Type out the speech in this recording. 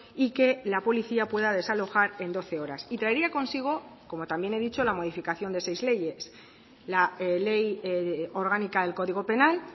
y que la policía pueda desalojar en doce horas y traería consigo como también he dicho la modificación de seis leyes la ley orgánica del código penal